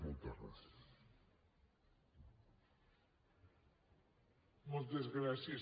moltes gràcies